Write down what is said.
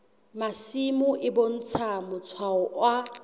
masimo e bontsha matshwao a